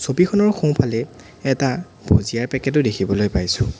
ছবিখনৰ সোঁফালে এটা ভূজিয়াৰ পেকেট ও দেখিবলৈ পাইছোঁ।